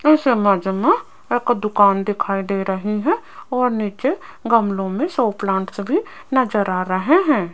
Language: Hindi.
इस इमेज में एक दुकान दिखाई दे रही है और नीचे गमलों में शो प्लांट्स भी नजर आ रहे हैं।